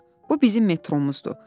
Bax, bu bizim metromuzdur.